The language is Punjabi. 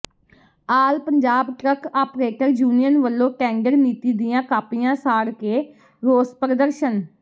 ਆਲ ਪੰਜਾਬ ਟਰੱਕ ਆਪ੍ਰੇਟਰ ਯੂਨੀਅਨ ਵਲੋਂ ਟੈਂਡਰ ਨੀਤੀ ਦੀਆਂ ਕਾਪੀਆਂ ਸਾੜ ਕੇ ਰੋਸ ਪ੍ਰਦਰਸ਼ਨ